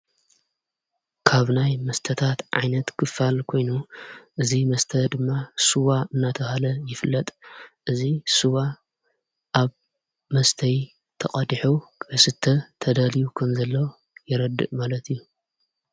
ካብናይ መስተታት ዓይነት ክፋል ኮይኑ እዙ መስተ ድማ ስዋ እናተብሃለ ይፍለጥ። እዚ ስዋ ኣብ መስተይ ተቐዲሑ ክስተ ተዳልዩ ከምዘሎ የረድእ ማለት እዩ።